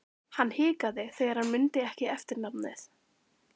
Hann hikaði þegar hann mundi ekki eftirnafnið.